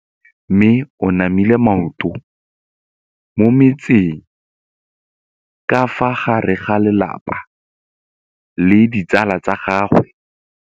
Mme o namile maoto mo mmetseng ka fa gare ga lelapa le ditsala tsa gagwe.